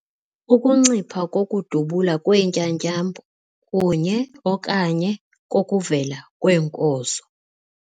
Ukuncipha kokudubula kweentyatyambo kunye - okanye kokuvela kweenkozo.